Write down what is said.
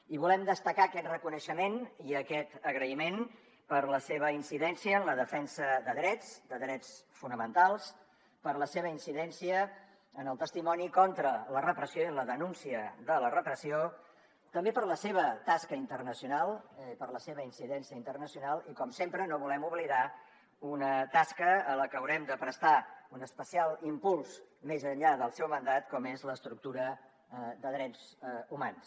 i volem destacar aquest reconeixement i aquest agraïment per la seva incidència en la defensa de drets de drets fonamentals per la seva incidència en el testimoni contra la repressió i en la denúncia de la repressió també per la seva tasca internacional per la seva incidència internacional i com sempre no volem oblidar una tasca a la que haurem de prestar un especial impuls més enllà del seu mandat com és l’estructura de drets humans